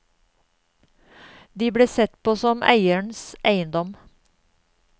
De ble sett på som eierens eiendom.